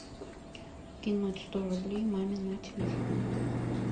кинуть сто рублей маме на телефон